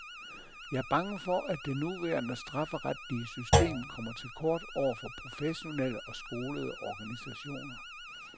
Jeg er bange for, at det nuværende strafferetlige system kommer til kort over for professionelle og skolede organisationer.